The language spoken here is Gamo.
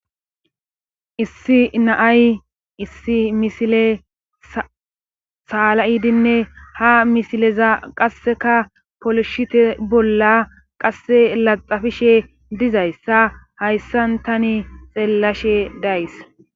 Issi na7ay issi misile saala7idinne ha misileza qasseka polishite bolla qasse laxxafishe dizayssa hayssan tani xeellashe days.